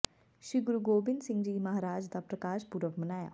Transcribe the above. ਸ੍ਰੀ ਗੁਰੂ ਗੋਬਿੰਦ ਸਿੰਘ ਜੀ ਮਹਾਰਾਜ ਦਾ ਪ੍ਰਕਾਸ਼ ਪੁਰਬ ਮਨਾਇਆ